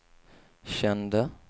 kände